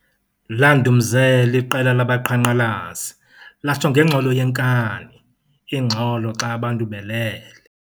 Landumzela iqela labaqhankqalazi latsho ngengxolo yekani ingxolo xa abantu belele